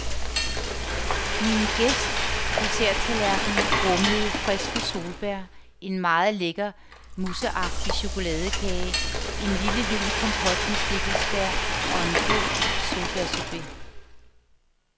Min gæsts desserttallerken rummede friske solbær, en meget lækker, mousseagtig chokoladekage, en lille lun kompot med stikkelsbær og en god solbærsorbet.